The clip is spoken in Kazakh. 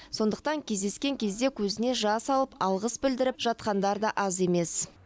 сондықтан кездескен кезде көзіне жас алып алғыс білдіріп жатқандар да аз емес